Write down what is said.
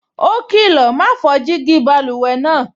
Ó kìlọ̀, "ma fọ́ jígí báluwẹ̀ náà"